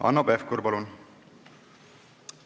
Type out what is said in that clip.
Hanno Pevkur, palun!